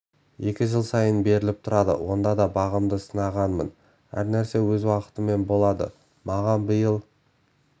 екі жыл сайын беріліп тұрады онда да бағымды сынағанмын әр нәрсе өз уақытымен болады маған биыл